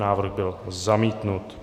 Návrh byl zamítnut.